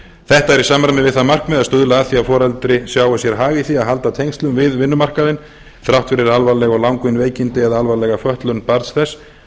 þetta er í samræmi við það markmið að stuðla að því að foreldri sjái sér hag í því að halda tengslum við vinnumarkaðinn þrátt fyrir alvarleg og langvinn veikindi eða alvarlega fötlun barns þess